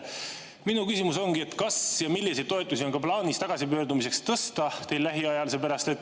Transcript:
Minu küsimus ongi, kas ja milliseid tagasipöördumistoetusi on teil plaanis lähiajal tõsta.